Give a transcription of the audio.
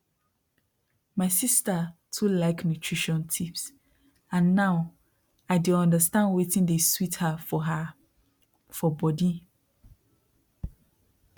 my sister too like nutrition tips and now i dey understand wetin dey sweet her for her for body